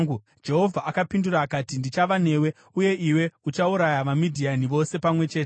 Jehovha akapindura akati, “Ndichava newe, uye iwe uchauraya vaMidhiani vose pamwe chete.”